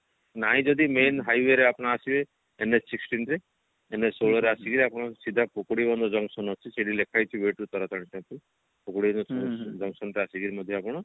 ନାଇଁ ଯଦି main highway ରେ ଆପଣ ଆସିବେ NH sixteen ରେ NH ରେ ଆସିକିରି ଆପଣ ସିଧା ପୁକୁଡିବନ୍ଧ junction ଅଛି ସେଠି ଲେଖା ହେଇଛି way to ତାରାତାରିଣୀ ପାଖକୁ ଆସିକିରି ମଧ୍ୟ ଆପଣ